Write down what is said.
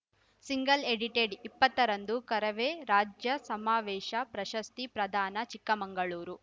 single edited ಇಪ್ಪತ್ತರಂದು ಕರವೇ ರಾಜ್ಯ ಸಮಾವೇಶ ಪ್ರಶಸ್ತಿ ಪ್ರದಾನ ಚಿಕ್ಕಮಂಗಳೂರು